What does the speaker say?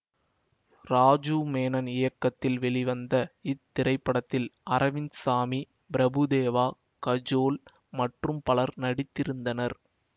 ராஜூவ் மேனன் இயக்கத்தில் வெளிவந்த இத்திரைப்படத்தில் அரவிந்த் சாமி பிரபு தேவா கஜோல் மற்றும் பலர் நடித்திருந்தனர்